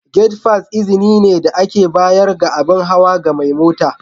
Gate fass izini ne da aka bayar ga abin hawa ga mai mota.